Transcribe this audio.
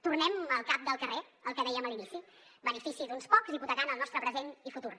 tornem al cap del carrer el que dèiem a l’inici benefici d’uns pocs hipotecant el nostre present i futur